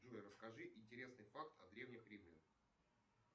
джой расскажи интересный факт о древних римлянах